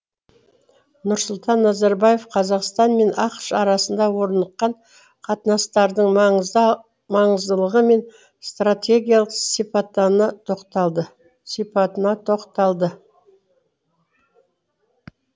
нұрсұлтан назарбаев қазақстан мен ақш арасында орныққан қатынастардың маңыздылығы мен стратегиялық сипатына тоқталды